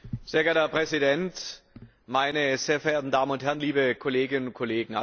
Herr Präsident, meine sehr verehrten Damen und Herren, liebe Kolleginnen und Kollegen!